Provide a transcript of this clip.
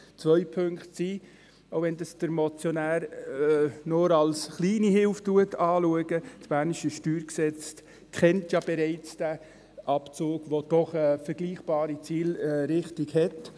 Zwei Punkte: Auch, wenn dies der Motionär nur als kleine Hilfe anschaut, das bernische StG kennt bereits diesen Abzug, welcher durchaus eine vergleichbare Zielrichtung hat.